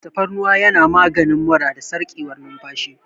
Tafarnuwa yana maganin mura da sarƙewar numfashi.